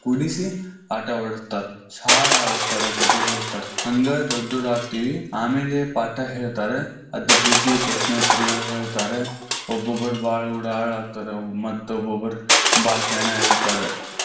ಕೂಡಿಸಿ ಆಟವಾಡಿಸ್ತಾರ. ಹಾಡಿಸ್ತಾರ, ಕತಿ ಹೇಳಸ್ತಾರ. ಹಂಗ ದೊಡ್ಡೋರಾಗ್ತಿವಿ. ಆಮೇಲೆ ಪಾಠ ಹೇಳ್ತಾರೆ ಅದರ್ ಜೊತಿ ಪ್ರಶ್ನೆ ಉತ್ತರ ಹೇಳ್ತಾರೆ, ಒಬ್ಬೊಬರ್ ಬಾಳ್ ಉಡಾಳ ಆಗ್ತಾರ, ಮತ್ತ್ ಒಬ್ಬೊಬ್ಬರ್ ಬಾಳ್ ಶಾನೆ ಆಗಿರ್ತಾರ.